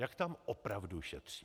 Jak tam opravdu šetří?